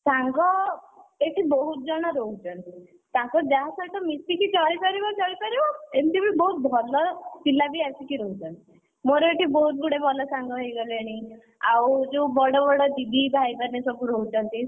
ସାଙ୍ଗ, ସେଇଠି ବହୁତ ଜଣ ରହୁଛନ୍ତି, ତାଙ୍କ ଯାହା ସହିତ ମିଶିକି ଚଳି ପାରିବ ଚଳିପାରିବ ଏମିତି ବି ବହୁତ ଭଲ ପିଲା ବି ଆସିକି ରହୁଛନ୍ତି, ମୋର ଏଠି ବହୁତ ଗୁଡ଼େ ଭଲ ସାଙ୍ଗ ହେଇଗଲେଣି, ଆଉ ଯୋଉ ବଡ ବଡ ଦିଦି ଭାଇମାନେ ସବୁ ରହୁଛନ୍ତି।